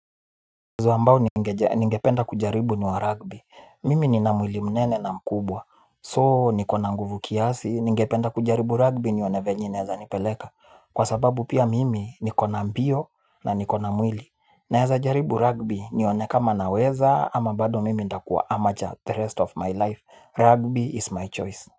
Mchezo ambao ningependa kujaribu ni wa rugby, mimi nina mwili mnene na mkubwa, so nikona nguvu kiasi, ningependa kujaribu rugby nione venye inaeza nipeleka, kwa sababu pia mimi nikona mbio na nikona mwili, naeza jaribu rugby nione kama naweza ama bado mimi nitakuwa amateur the rest of my life, rugby is my choice.